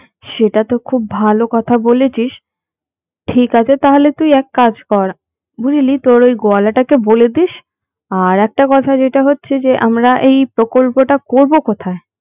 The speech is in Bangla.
সেটা তো খুব ভালো কথা বলেছিস ঠিক আছে তাহলে তুই এক কাজ কর বুঝলি তোর ঐ গোয়ালাটাকে বলে দিস আর একটা কথা যেটা হচ্ছে যে আমরা এই প্রকল্পটা করবো কোথায়